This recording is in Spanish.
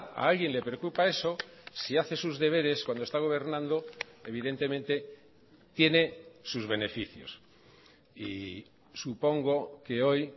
a alguien le preocupa eso si hace sus deberes cuando está gobernando evidentemente tiene sus beneficios y supongo que hoy